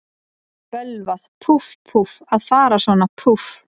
Bölvað, púff, púff, að fara svona, púff.